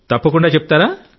తప్పకుండా చెప్తారా